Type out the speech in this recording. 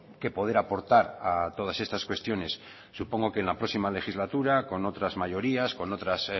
que poder aportar a todas estas cuestiones supongo que en la próxima legislatura con otras mayorías con otros